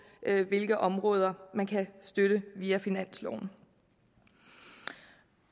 hvilke områder man kan støtte via finansloven